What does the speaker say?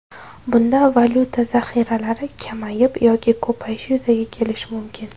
Bunda valyuta zaxiralari kamayib yoki ko‘payishi yuzaga kelishi mumkin.